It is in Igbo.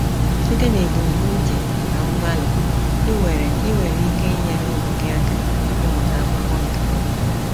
Site n’ebumnuche na mgbalị, ị nwere ị nwere ike inyere ụmụ gị aka ịmụta akwụkwọ nke ọma.